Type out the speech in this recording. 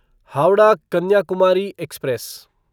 Howrah Kanyakumari express